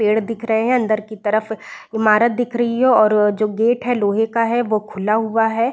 पेड़ दिख रहे हैं अंदर की तरफ ईमारत दिख रही है और जो गेट है लोहे का है वो खुला हुआ है।